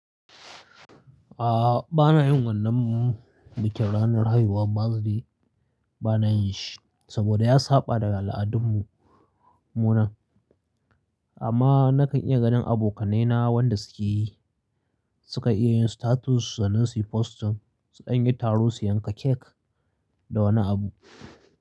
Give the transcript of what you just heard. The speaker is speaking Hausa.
A'a, bana yin wannan bikin ranar haihuwa birthday bana yin shi saboda ya saba daga al'adunmu munan. Amma nakan iya ganin abokanai na wanda suke yi, suka iya yin status su na yi post sukan yi taro su yanka cake da wani abu.